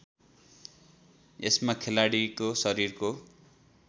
यसमा खेलाडीको शरीरको